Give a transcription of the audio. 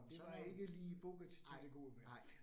Det var ikke lige booket til det gode vejr